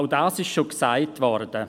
– Auch dies ist schon gesagt worden.